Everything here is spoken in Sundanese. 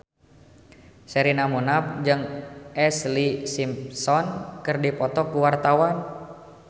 Sherina Munaf jeung Ashlee Simpson keur dipoto ku wartawan